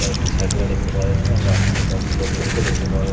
কয়েকটা সাইকেল -ও দেখতে পাওয়া যাচ্ছে এবং রাস্তায় কয়েকটি লোকজনকেও দেখতে পাওয়া যা--